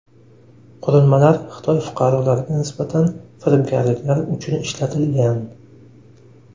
Qurilmalar Xitoy fuqarolariga nisbatan firibgarliklar uchun ishlatilgan.